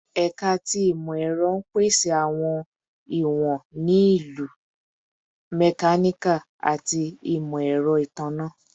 Ẹka ti Imọ-ẹrọ n pese awọn iwọn ni Ilu, Mechanical, ati Imọ-ẹrọ Itanna